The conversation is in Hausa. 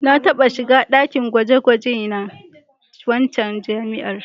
Na taɓa shiga ɗakin gwaje-gwaje na waccan jami'ar.